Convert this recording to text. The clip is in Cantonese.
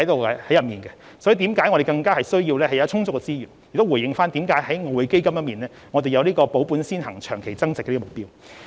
為此，我們需要備有更充足的資源，因而在處理外匯基金資產時必須以保本先行，長期增值為目標。